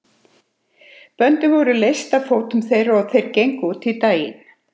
Böndin voru leyst af fótum þeirra og þeir gengu út í daginn.